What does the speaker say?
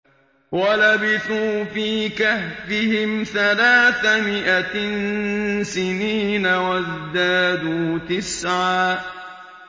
وَلَبِثُوا فِي كَهْفِهِمْ ثَلَاثَ مِائَةٍ سِنِينَ وَازْدَادُوا تِسْعًا